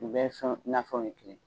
U bɛ sɔn nafɛnw ye kelen ye